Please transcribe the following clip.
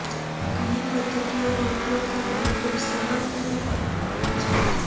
આ ઘણી પદ્ધતિઓનો ઉપયોગ કરીને ખૂબ સરળ રીતે કરવામાં આવે છે